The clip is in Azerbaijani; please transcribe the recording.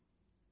Tikərəm.